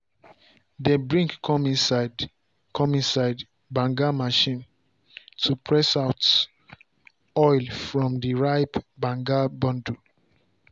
dem bring come inside come inside banga machine to press out oil from the ripe um banga bundle.